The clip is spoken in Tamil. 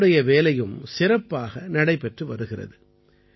இவருடைய வேலையும் சிறப்பாக நடைபெற்று வருகிறது